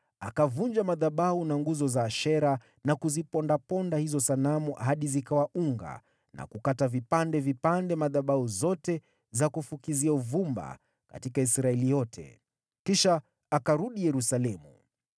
akavunja madhabahu na nguzo za Ashera na kuzipondaponda hizo sanamu hadi zikawa unga na kukata vipande vipande madhabahu zote za kufukizia uvumba katika Israeli yote. Kisha akarudi Yerusalemu.